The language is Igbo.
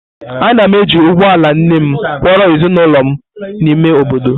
Ana m eji ụgbọ ala nne m kwọro ezinụlọ m gaa n’ime obodo.